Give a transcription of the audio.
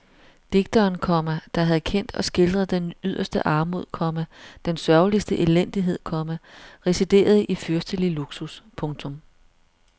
Digteren, komma der havde kendt og skildret den yderste armod, komma den sørgeligste elendighed, komma residerede i fyrstelig luksus. punktum